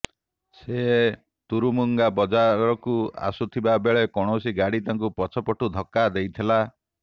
ସେ ତୁରୁମୁଙ୍ଗା ବଜାରକୁ ଆସୁଥିବା ବେଳେ କୌଣସି ଗାଡ଼ି ତାଙ୍କୁ ପଛପଟରୁ ଧକ୍କା ଦେଇଥିଲା